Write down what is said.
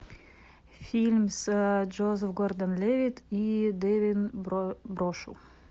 фильм с джозеф гордон левитт и девин брошу